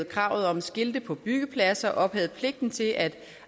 kravet om skilte på byggepladser og ophævede pligten til at